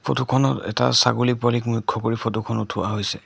Photo খনত এটা ছাগলী পোৱালীক মুখ্য কৰি ফটো খন উঠোৱা হৈছে।